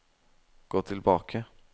gå tilbake